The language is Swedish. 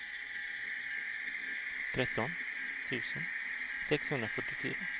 tretton tusen sexhundrafyrtiofyra